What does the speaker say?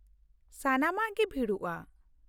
ᱥᱟᱱᱟᱢᱟᱜ ᱜᱮ ᱵᱷᱤᱲᱚᱜᱼᱟ ᱾